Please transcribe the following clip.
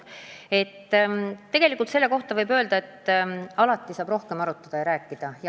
Tegelikult võib öelda, et alati saab rohkem arutada.